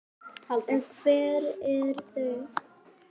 En hver eru þau?